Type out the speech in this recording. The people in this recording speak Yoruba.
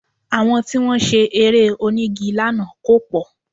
Àwọn tí wọ́n ṣe Eré onígi lánàá kò pọ̀